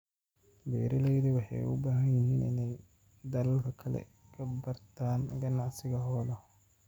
Beeralaydu waxay u baahan yihiin inay dalalka kale ka bartaan ganacsiga xoolaha.